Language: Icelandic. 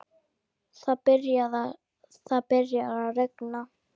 Það byrjar að rigna.